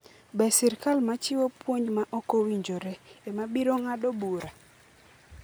Be sirkal ma chiwo puonj ma ok owinjore, ema biro ng'ado bura?'